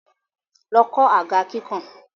Lọ kọ̀ àga kíkàn!